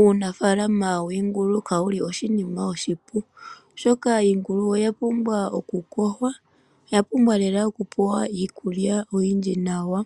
Uunafaalama wiingulu kawuli oshinima oshipu, oshoka iingulu oya pumbwa okuyogwa, oya pumbwa lela oku pewa iikulya oyindji nawa.